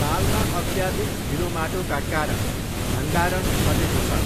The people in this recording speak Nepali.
तालमा अत्याधिक हिलोमाटोका कारण भण्डारण घटेको छ।